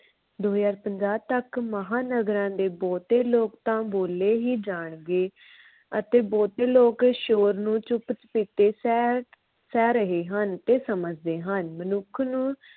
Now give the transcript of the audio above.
ਦੋ ਹਜ਼ਾਰ ਪੰਜਾਹ ਤੱਕ ਮਹਾਨਗਰਾਂ ਦੇ ਬਹੁਤੇ ਲੋਕ ਤਾਂ ਬੋਲੇ ਹੀ ਜਾਣਗੇ ਅਤੇ ਬਹੁਤੇ ਲੋਕ ਸ਼ੋਰ ਨੂੰ ਚੁੱਪ ਚੁਪੀਤੇ ਸਹਿ ਸਹਿ ਰਹੇ ਹਨ ਤੇ ਸਮਝ ਰਹੇ ਹਨ। ਮਨੁੱਖ ਨੂੰ